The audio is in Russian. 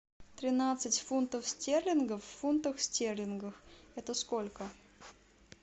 тринадцать фунтов стерлингов в фунтах стерлингов это сколько